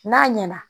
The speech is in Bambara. N'a ɲɛna